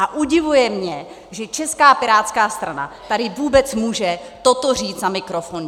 A udivuje mě, že Česká pirátská strana tady vůbec může toto říct na mikrofon.